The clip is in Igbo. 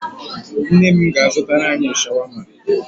Nne m ga-azụtara anyị shawama.